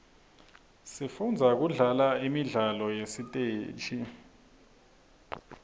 sifundza kudlala imidlalo yasesiteji